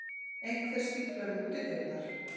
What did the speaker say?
Einhver stífla við útidyrnar.